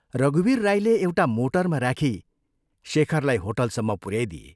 रघुवीर राईले एउटा मोटरमा राखी शेखरलाई होटलसम्म पुऱ्याइदिए।